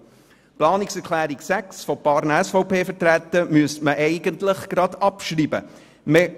Zu Planungserklärung 6 von ein paar SVP-Vertretern: Diese sollte eigentlich gleich abgeschrieben werden.